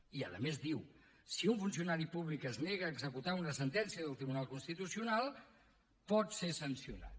i a més diu si un funcionari públic es nega a executar una sentència del tribunal constitucional pot ser sancionat